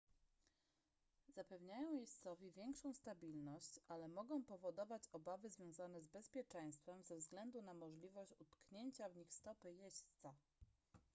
zapewniają jeźdźcowi większą stabilność ale mogą powodować obawy związane z bezpieczeństwem ze względu na możliwość utknięcia w nich stopy jeźdźca